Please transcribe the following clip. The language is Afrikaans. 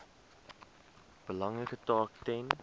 belangrike taak ten